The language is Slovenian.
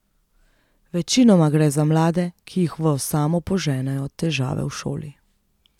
Večinoma gre za mlade, ki jih v osamo poženejo težave v šoli.